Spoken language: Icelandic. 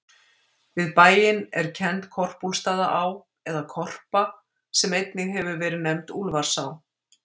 Við bæinn er kennd Korpúlfsstaðaá, eða Korpa, sem einnig hefur verið nefnd Úlfarsá.